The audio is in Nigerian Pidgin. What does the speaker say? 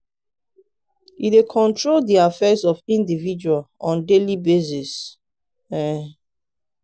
e dey control de affairs of indiviual on daily basis. um